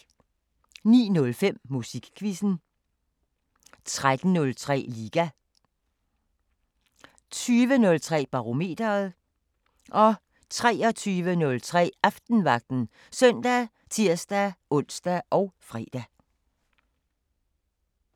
09:05: Musikquizzen 13:03: Liga 20:03: Barometeret 23:03: Aftenvagten ( søn, tir-ons, fre)